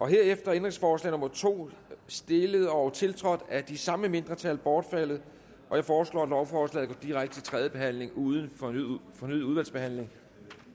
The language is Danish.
er ændringsforslag nummer to stillet og tiltrådt af de samme mindretal bortfaldet jeg foreslår at lovforslaget går direkte til tredje behandling uden fornyet udvalgsbehandling